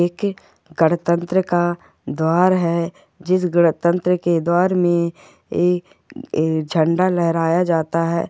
एक गणतंत्र का द्वार है जिस गणतंत्र के द्वार मे एक झेंडा लेहराया जाता है।